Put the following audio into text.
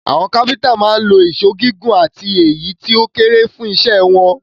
Àwọn kápẹ́ńtà máa ń lo ìṣó gígùn àti èyí tó kéré fún iṣẹ́ wọn.